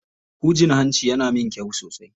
Hujin hancin yana min kyau sosai.